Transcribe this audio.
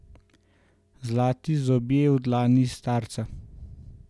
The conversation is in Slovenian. Zlati zobje v dlani starca.